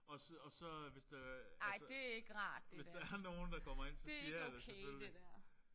Og så og så hvis der er altså hvis der er nogen der kommer ind så siger jeg det selvfølgelig